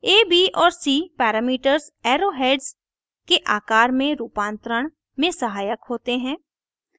a b और c parameters arrow heads के आकर में रूपांतरण में सहायक होते हैं